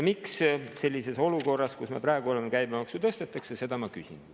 Miks sellises olukorras, kus me praegu oleme, käibemaksu tõstetakse, seda ma küsingi.